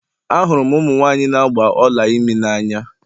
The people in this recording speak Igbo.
Ahụrụ m ụmụ nwanyị na agba Ọla imi n'anya